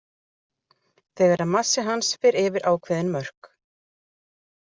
Þegar massi hans fer yfir ákveðin mörk.